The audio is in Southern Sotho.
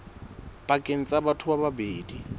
pakeng tsa batho ba babedi